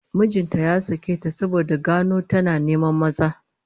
Mijin ta zai sake ta saboda ya gano tana neman maza